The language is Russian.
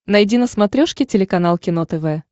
найди на смотрешке телеканал кино тв